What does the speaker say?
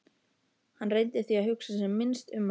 Hann reyndi því að hugsa sem minnst um hana.